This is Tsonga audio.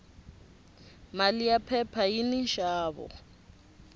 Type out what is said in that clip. mali ya phepha yini nxavo